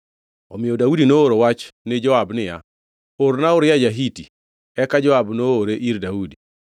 Omiyo Daudi nooro wach ni Joab niya, “Orna Uria ja-Hiti.” Eka Joab noore ir Daudi.